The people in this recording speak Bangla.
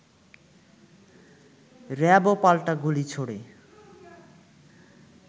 র‍্যাবও পাল্টা গুলি ছোঁড়ে